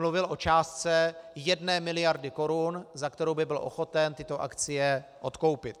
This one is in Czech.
Mluvil o částce jedné miliardy korun, za kterou by byl ochoten tyto akcie odkoupit.